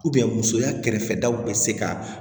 musoya kɛrɛfɛ daw bɛ se ka